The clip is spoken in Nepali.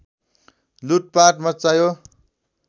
लुटपाट मच्चायो